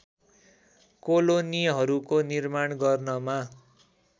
कोलोनीहरूको निर्माण गर्नमा